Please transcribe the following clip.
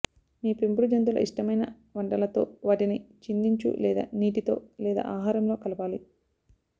మీ పెంపుడు జంతువుల ఇష్టమైన వంటలతో వాటిని చిందించు లేదా నీటితో లేదా ఆహారంలో కలపాలి